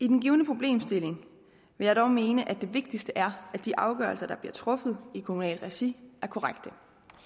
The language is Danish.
den givne problemstilling vil jeg dog mene at det vigtigste er at de afgørelser der bliver truffet i kommunalt regi er korrekte